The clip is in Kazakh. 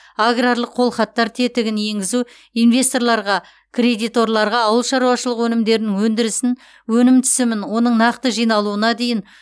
аграрлық қолхаттар тетігін енгізу инвесторларға кредиторларға ауыл шаруашылығы өнімдерінің өндірісін өнім түсімін оның нақты жиналуына дейін